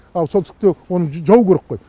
ал солтүстікте оны жабу керек қой